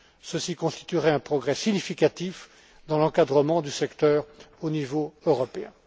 Ceci constituerait un progrès significatif dans l'encadrement du secteur au niveau européen.